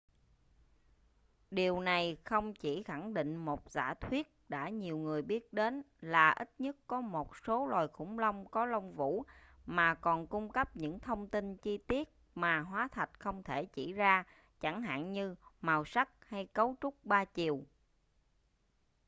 điều này không chỉ khẳng định một giả thuyết đã nhiều người biết đến là ít nhất có một số loài khủng long có lông vũ mà còn cung cấp những thông tin chi tiết mà hóa thạch không thể chỉ ra chẳng hạn như màu sắc hay cấu trúc 3 chiều